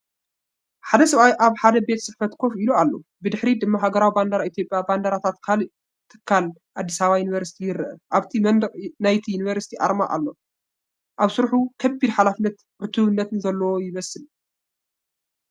ሓደ ሰብኣይ ኣብ ሓደ ቤት ጽሕፈት ኮፍ ኢሉ ኣሎ። ብድሕሪት ድማ ሃገራዊ ባንዴራ ኢትዮጵያን ባንዴራታት ካልእ ትካልን (ኣዲስ ኣበባ ዩኒቨርስቲ) ይረአ። ኣብቲ መንደቕ ናይቲ ዩኒቨርሲቲ ኣርማ እውን ኣሎ። ኣብ ስርሑ ከቢድ ሓላፍነትን ዕቱብነትን ዘለዎ ይመስል።